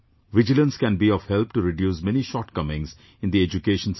Vigilance can be of help to reduce many shortcomings in the education system